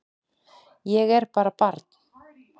Ég er bara barn.